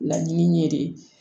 Laɲini ye de